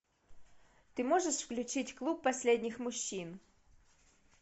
ты можешь включить клуб последних мужчин